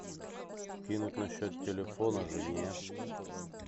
кинуть на счет телефона жене